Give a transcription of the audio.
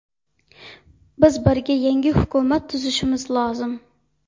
Biz birga yangi hukumat tuzishimiz lozim.